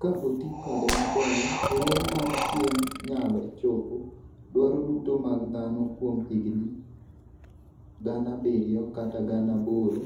Ka oti kode maber, ler mar chieng' nyalo chopo dwaro duto mag dhano kuom higini 7,000 kata 8,000,